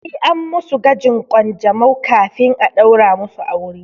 Sai an musu gwajin ƙanjamau kafin a ɗaura musu aure.